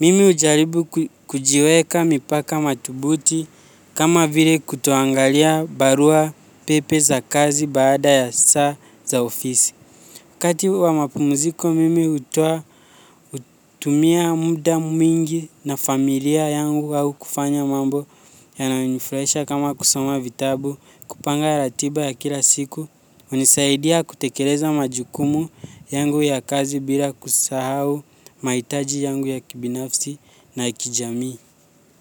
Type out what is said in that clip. Mimi hujaribu kujiweka mipaka mathubuti kama vile kutoangalia barua pepe za kazi baada ya saa za ofisi. Wakati wa mapumziko mimi hutumia muda mwingi na familia yangu au kufanya mambo yananifurahisha kama kusoma vitabu, kupanga ratiba ya kila siku, hunisaidia kutekeleza majukumu yangu ya kazi bila kusahau, mahitaji yangu ya kibinafsi na kijamii.